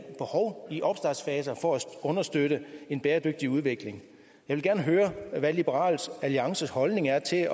behov i opstartsfaser for at understøtte en bæredygtig udvikling jeg vil gerne høre hvad liberal alliances holdning er til